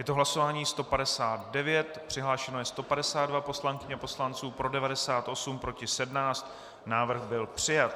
Je to hlasování 159, přihlášeno je 152 poslankyň a poslanců, pro 98, proti 17, návrh byl přijat.